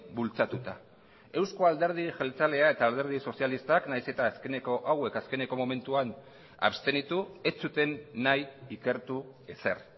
bultzatuta euzko alderdi jeltzalea eta alderdi sozialistak nahiz eta azkeneko hauek azkeneko momentuan abstenitu ez zuten nahi ikertu ezer